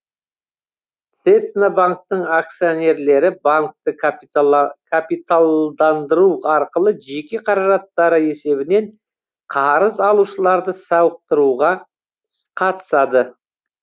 цеснабанктің акционерлері банкті капиталдандыру арқылы жеке қаражаттары есебінен қарыз алушыларды сауықтыруға қатысады